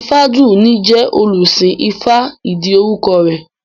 Ifádùúní jẹ́ olùsìn ifá ìdí orúkọ rẹ̀